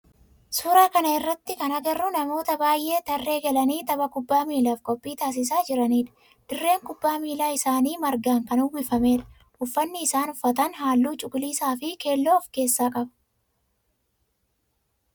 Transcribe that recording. Suuraa kana irratti kana agarru namoota baayyee tarrree galanii tapha kubbaa miilaaf qophii taasisaa jiranidha. Dirreen kubbaa miilaa isaanii margaan kan uwwifamedha. Uffanni isaan uffatan halluu cuquliisa fi keelloo of keessaa qaba.